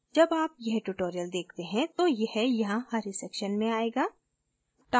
जब आप यह tutorial देखते हैं तो यह यहाँ हरे section में आएगा